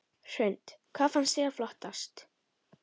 Hrund: Hvað fannst þér flottast?